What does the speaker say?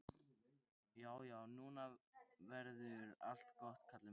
Já, já, nú verður allt gott, Kalli minn.